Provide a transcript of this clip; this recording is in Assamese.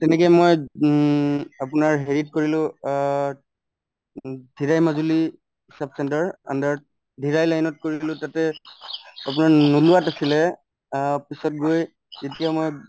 তেনেকে মই উম আপোনাৰ হেৰিত কৰিলো অ উম মাজুলী sub center under কৰিলো তাতে আপোনাৰ আছিলে অ পিছত গৈ যেতিয়া মই